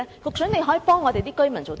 究竟局長可以幫居民做甚麼？